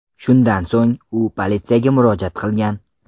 Shundan so‘ng u politsiyaga murojaat qilgan.